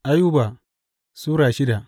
Ayuba Sura shida